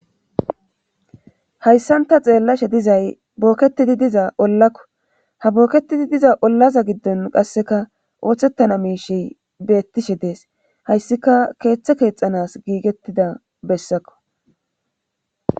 hayssanta xeellashe dizay booketidi diza ollakko ha booketidi diza ollaza giddon qasseka ooththettana miishey beettishe dees hayssika keeththa keexanas giigettida bessakko